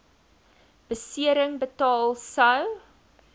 besering betaal sou